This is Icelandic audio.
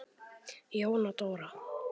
Jóna Dóra.